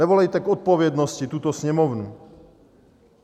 Nevolejte k odpovědnosti tuto Sněmovnu.